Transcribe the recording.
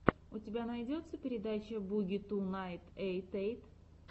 у тебя будет передача буги ту найн эйт эйт